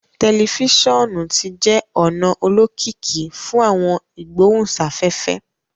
Telifisonu ti jẹ ona olokiki fun awọn igbohunsafefe